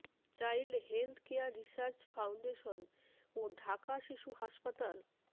child health care research foundation ও ঢাকা শিশু হাসপাতাল